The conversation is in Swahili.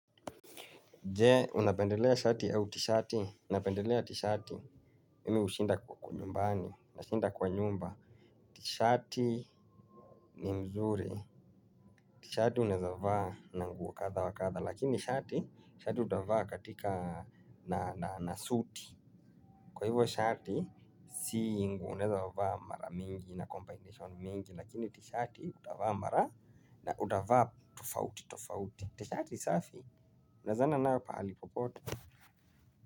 Jee, unapendelea shati au tishati, napendelea tishati, mimi ushinda kwa kunyumbani, nashinda kwa nyumba. Tishati ni mzuri, tishati uneza vahaa na nguwo katha wa katha, lakini shati, shati utahavaa katika na nasuti. Kwa hivyo shati, si nguo uneza vahaa mara mingi na combination mingi, lakini tishati utahavaa mara na utahavaa tofauti, tofauti. Tishati safi, unaezana nao pahali popote.